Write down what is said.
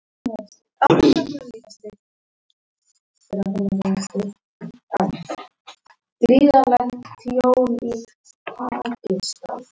Hér sést staðsetning þess.